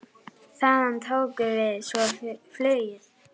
Þaðan tókum við svo flugið.